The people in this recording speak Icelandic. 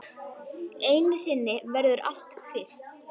Einu sinni verður allt fyrst.